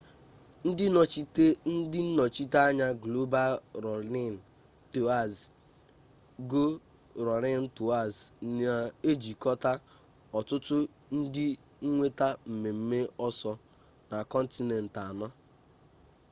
ndị nnọchiteanya global rọnịn tọọz go rọnịn tọọz na ejikọta ọtụtụ ndị nweta mmemme ọsọ na kọntinent anọ